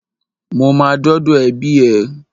Mo ma dọ́dọ̀ ẹbí ẹ.